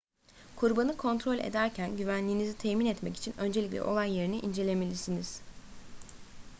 kurbanı kontrol ederken güvenliğinizi temin etmek için öncelikle olay yerini incelemelisiniz